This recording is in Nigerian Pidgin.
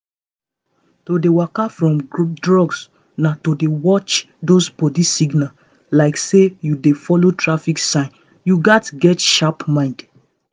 to waka free from drugs na to dey watch those body signals like say you dey follow traffic light you gats get sharp mind.